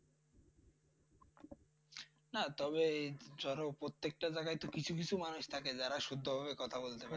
হ্যাঁ তবে প্রত্যেকটা জায়গাতে তো কিছু কিছু মানুষ থাকে যারা শুদ্ধভাবে কথা বলতে পারে।